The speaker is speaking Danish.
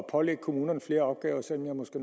pålægge kommunerne flere opgaver selv om jeg måske